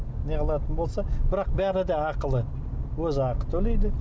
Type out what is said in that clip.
не қылатын болса бірақ бәрі де ақылы өзі ақы төлейді